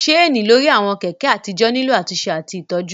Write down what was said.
Ṣéènì lórí àwọn Kẹ̀kẹ́ àtijọ́ nílò àtúnṣe àti ìtọ́jú